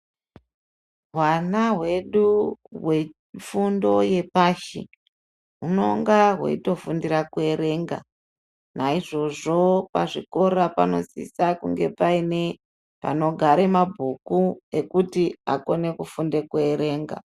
Hwana hwedu hwefundo yepashi hunenge hweitofundira kuerenga naizvozvo pazvikora panosisa kuve paine panogara mabhuku ekuti akone kufunda kuerenga.